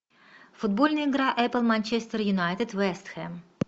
футбольная игра апл манчестер юнайтед вест хэм